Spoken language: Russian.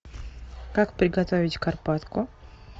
как приготовить карпатку